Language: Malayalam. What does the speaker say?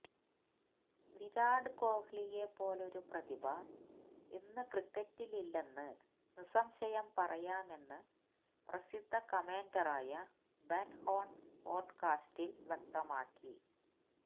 വിരാട് കോഹ്ലിയെ പോലൊരു പ്രതിഭ ഇന്ന് ക്രിക്കറ്റിലില്ലെന്ന് നിസംശയം പറയാമെന്ന് പ്രസിദ്ധ കമന്റേറ്ററായ ബെന് ഹോണ് പോഡ്കാസ്റ്റില് വ്യക്തമാക്കി